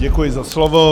Děkuji za slovo.